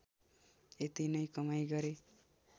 यति नै कमाइ गरे